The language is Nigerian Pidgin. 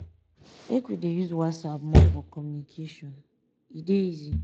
make we dey use whatsapp more for communication e dey easy.